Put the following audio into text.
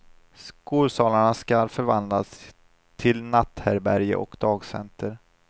Skolsalarna ska förvandlas till natthärbärge och dagcenter.